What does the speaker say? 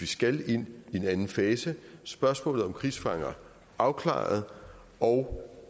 skal ind i en anden fase spørgsmålet om krigsfanger afklaret og